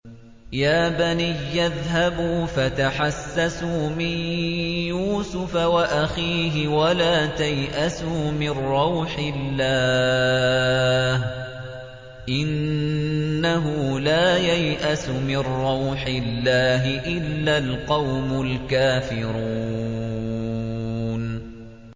يَا بَنِيَّ اذْهَبُوا فَتَحَسَّسُوا مِن يُوسُفَ وَأَخِيهِ وَلَا تَيْأَسُوا مِن رَّوْحِ اللَّهِ ۖ إِنَّهُ لَا يَيْأَسُ مِن رَّوْحِ اللَّهِ إِلَّا الْقَوْمُ الْكَافِرُونَ